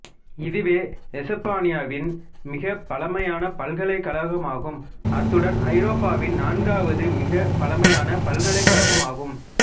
இதுவே எசுப்பானியாவின் மிகப் பழமையான பல்கலைக்கழகமாகும் அத்துடன் ஐரோப்பாவின் நான்காவது மிகப் பழமையான பல்கலைக்கழகமாகும்